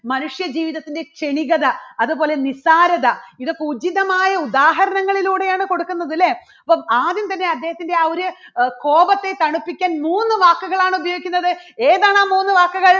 മനുഷ്യ ജീവിതത്തിന്റെ ക്ഷണികത അതുപോലെ നിസാരത ഇതൊക്കെ ഉചിതമായ ഉദാഹരണങ്ങളിലൂടെയാണ് കൊടുക്കുന്നത് അല്ലേ അപ്പോൾ ആദ്യം തന്നെ അദ്ദേഹത്തിൻറെ ആ ഒരു അഹ് കോപത്തെ തണുപ്പിക്കാൻ മൂന്നു വാക്കുകളാണ് ഉപയോഗിക്കുന്നത്. ഏതാണ് ആ മൂന്ന് വാക്കുകൾ?